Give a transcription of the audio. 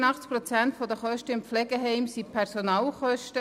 85 Prozent der Kosten in einem Heim sind Personalkosten.